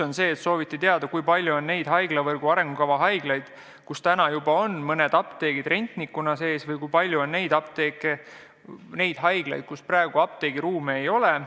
Näiteks sooviti teada, kui palju on neid haiglavõrgu arengukava haiglaid, kus juba praegu on mõned apteegid rentnikuna sees, ja kui palju on neid haiglaid, kus praegu apteegiruume ei ole.